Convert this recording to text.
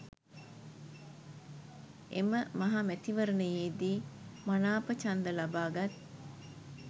එම මහ මැතිවරණයේදි මනාප ඡන්ද ලබාගත්